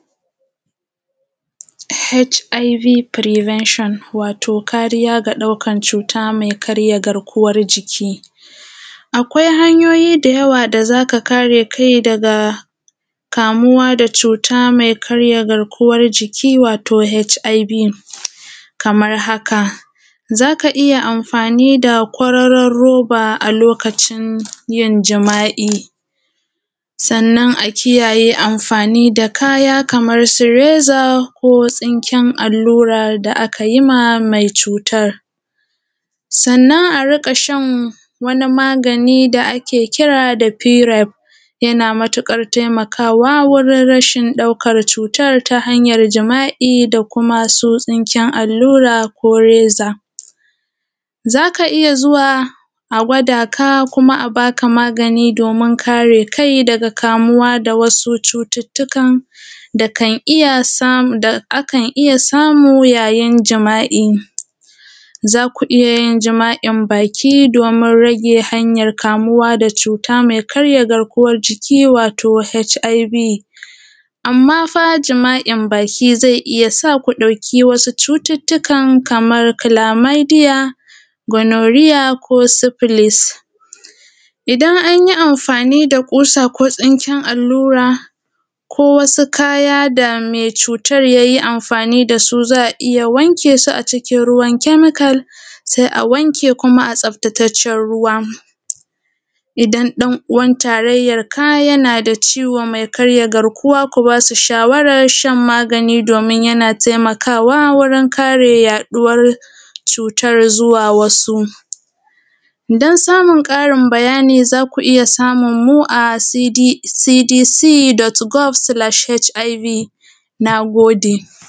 HIV prevention wato kariya ga ɗaukan cuta mai karya garkuwan jiki, akwai hanyoyi da yawa da zaka kare kai wato daga ɗaukan cuta mai karya garkuwa jiki wato HIV kamar haka. Zaka iyya amfani da kwararon roba a lokacin yin jima’i, sannan a kiyaye yin amfani da kaya Kamansu reza, kotsinken allurar da aka yima mai cutan. Sannan a riƙashan wani magani da ake kira da firaf yana matukar wurin rashin ɗaukan cutar ta hanyar jima’I da kuma su tsinken allura ko reza. Zaka iyya zuwa a gwada ka kuma a baka magani domin kare kai daga kamuwa daga wasu cututtukan, da akan iyya samu yayin jima’i. zaku iyayin jima’in baki domin rage hanyar kamuwa da cuta mai karya garkuwan jiki wato HIV amma fa jima’in baki zai iyyasa ku ɗauki wasu cututtukan kamar kilamaidiya, gonorrhea ko syphilis. Idan anyi amfani da kusa ko tsinken allura ko wasu kaya da mai cutar yayi amfani dasu za’a iyya wankesu a cikin ruwan chemical sai awanke kuma a tsaftataccen ruwa. Idan ɗan uwan tarayyanka yanada ciwo kai karya garkuwan jiki ku basu shawarar shan magani domin yana taimakawa wurin yaɗuwar cutar zuwa wasu, dan samun ƙarin bayani zaku iyya samunmu a cdc.gov/hiv. Nagode